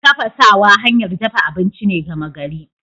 Tafasawa hanyar dafa abinci ce gama gari.